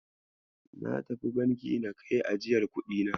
Natafi Banki na kai ajiyar kuɗina.